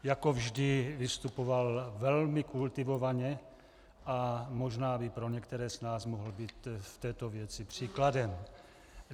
Jako vždy vystupoval velmi kultivovaně a možná by pro některé z nás mohl být v této věci příkladem.